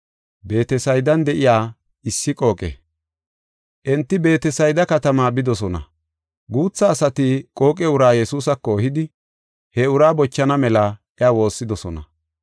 Enti Beetesayda katamaa bidosona. Guutha asati qooqe uraa Yesuusako ehidi he uraa bochana mela iya woossidosona.